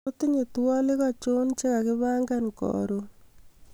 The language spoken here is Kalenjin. otinye twolik achon chegagipangan korun